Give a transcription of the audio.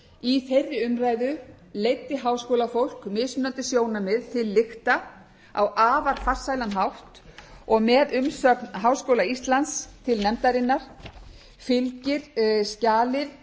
í þeirri umræðu leiddi háskólafólk mismunandi sjónarmið til lykta á afar farsælan hátt og með umsögn háskóla íslands til nefndarinnar fylgir skjal